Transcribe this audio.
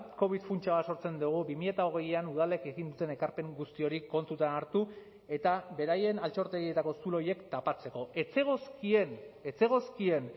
covid funtsa bat sortzen dugu bi mila hogeian udalek egin duten ekarpen guzti hori kontutan hartu eta beraien altxortegietako zulo horiek tapatzeko ez zegozkien ez zegozkien